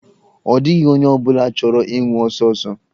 Ọ dịghị onye ọ bụla chọrọ ịnwụ ọsọ ọsọ.